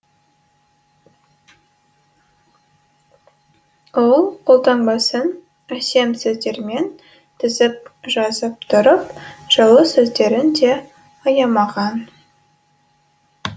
ол қолтаңбасын әсем сөздермен тізіп жазып тұрып жылы сөздерін де аямаған